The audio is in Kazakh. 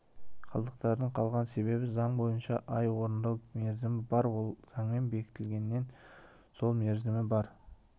қалдықтардың қалған себебі заң бойынша ай орындау мерзімі бар ол заңмен белгіленген сол мерзімі бар